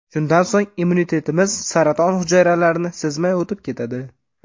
Shundan so‘ng immunitetimiz saraton hujayralarini sezmay o‘tib ketadi.